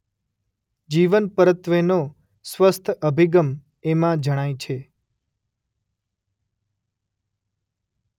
જીવન પરત્વેનો સ્વસ્થ અભિગમ એમાં જણાય છે.